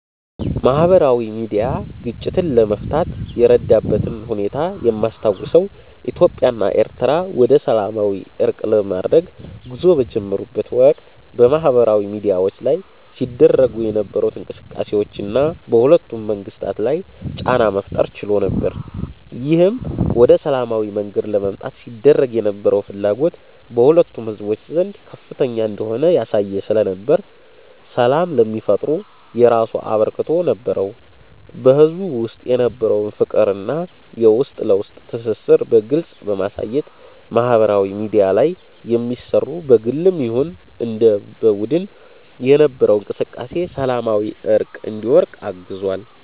ማህበራዊ ሚድያ ግጭትን ለመፍታት የረዳበትን ሁኔታ የማስታውሰው ኢትዮጵያ እና ኤሪትሪያ ወደሰላማዊ እርቅ ለማድረግ ጉዞ በጀመሩት ወቅት በማህበራዊ ሚድያዎች ላይ ሲደረጉ የነበሩት እንቅስቃሴዎች እና በሁለቱም መንግስታት ላይ ጫና መፍጠር ችሎ ነበር። ይህም ወደ ሰላማዊ መንገድ ለመምጣት ሲደረግ የነበረው ፍላጎት በሁለቱም ህዝቦች ዘንድ ከፍተኛ እንደሆነ ያሳየ ስለነበር ሰላም ለሚፈጠሩ የራሱ አበርክቶት ነበረው። በህዝቡ ውስጥ የነበረውን ፍቅር እና የውስጥ ለውስጥ ትስስርን በግልጽ በማሳየት ማህበራዊ ሚድያ ላይ የሚሰሩ በግልም ይሁን እንደ በቡድን የነበረው እንቅስቃሴ ሰላማዊ እርቅ እንዲወርድ አግዟል።